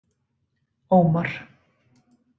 Ómar